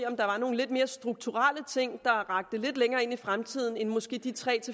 om der var nogle lidt mere strukturelle ting der rakte længere ind i fremtiden end de måske tre